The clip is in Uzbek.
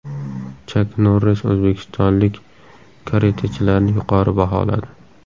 Chak Norris o‘zbekistonlik karatechilarni yuqori baholadi.